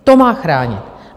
To má chránit.